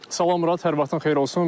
Salam Murad, hər vaxtın xeyir olsun.